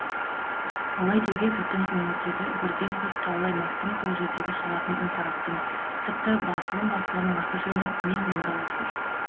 олай деуге біздің өңірдегі бірден бір таулы аймақтың сол жерде шығатын үнпарақтың тіпті басылым бастығының аты жөні мен мұңдалап тұр